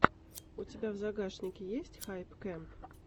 у тебя в загашнике есть хайп кэмп